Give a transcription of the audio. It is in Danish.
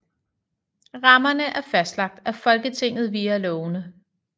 Rammerne er fastlagt af Folketinget via lovene